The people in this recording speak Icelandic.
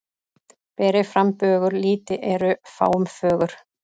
Ber ei fram bögur lýti eru fáum fögur.